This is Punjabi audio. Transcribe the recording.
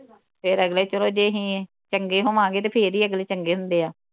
ਫਿਰ ਅਗਲੇ ਚੱਲੋ ਜੇ ਅਹੀ ਚੰਗੇ ਹੋਵਾਂਗੇ ਤੇ ਫਿਰ ਹੀ ਅਗਲੇ ਚੰਗੇ ਹੁੰਦੇ ਆ